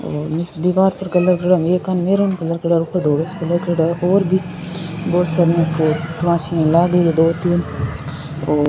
और दिवार पे कलर करियोडो एकानी मेहरून कलर ऊपर धोलो सो कलर और भी बहुत सार दो तीन और --